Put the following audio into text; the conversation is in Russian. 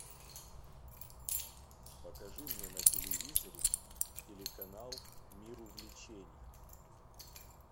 покажи мне на телевизоре телеканал мир увлечений